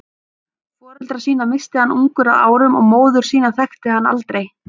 Foreldra sína missti hann ungur að árum og móður sína þekkti hann aldrei.